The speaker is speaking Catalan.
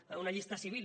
per tant una llista civil